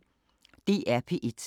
DR P1